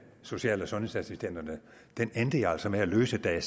social og sundhedsassistenterne endte jeg altså med at løse da